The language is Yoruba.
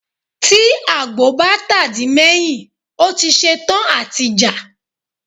Tí Àgbò bá tà di mẹ́ yìn, ó ti ṣe tán à ti jà.